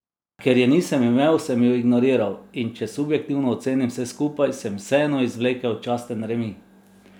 Ker je nisem imel, sem ju ignoriral, in če subjektivno ocenim vse skupaj, sem vseeno izvlekel časten remi.